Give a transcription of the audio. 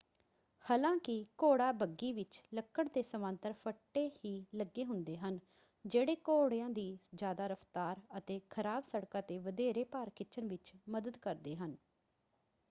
ਹਾਲਾਂਕਿ ਘੋੜਾ ਬੱਗੀ ਵਿੱਚ ਲੱਕੜ ਦੇ ਸਮਾਂਤਰ ਫੱਟੇ ਹੀ ਲੱਗੇ ਹੁੰਦੇ ਹਨ ਜਿਹੜੇ ਘੋੜਿਆਂ ਦੀ ਜਿਆਦਾ ਰਫ਼ਤਾਰ ਅਤੇ ਖਰਾਬ ਸੜਕਾਂ 'ਤੇ ਵਧੇਰੇ ਭਾਰ ਖਿੱਚਣ ਵਿੱਚ ਮਦਦ ਕਰਦੇ ਹਨ।